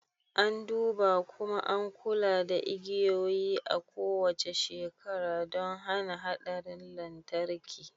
An duba, kuma an kula da igiyoyi a kowace shekara don hana haɗarin lantarki